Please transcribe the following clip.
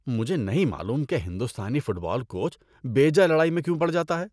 مجھے نہیں معلوم کہ ہندوستانی فٹ بال کوچ بیجا لڑائی میں کیوں پڑ جاتا ہے۔